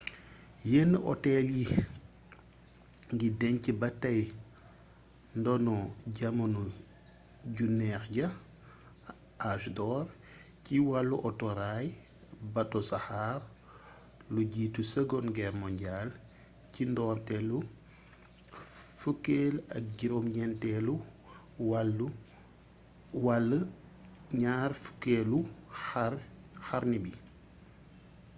yenn hôtel yii ngi deñc ba tay ndono jamono ju neex ja âge d'or ci wàllu autoraay bato saxaar; lu jiitu seconde guerre mondiale ci ndoorleetu 19eel wala 20eelu xarni bi